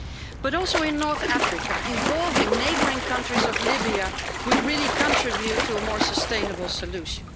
But also in North Africa, involving Libya's neighbouring countries would really contribute to a more sustainable solution.